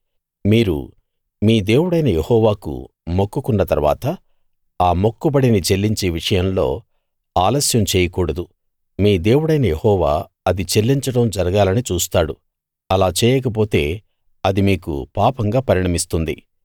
మీరు మీ దేవుడైన యెహోవాకు మొక్కుకున్న తరువాత ఆ మొక్కుబడిని చెల్లించే విషయంలో ఆలస్యం చేయకూడదు మీ దేవుడైన యెహోవా అది చెల్లించడం జరగాలని చూస్తాడు అలా చేయకపోతే అది మీకు పాపంగా పరిణమిస్తుంది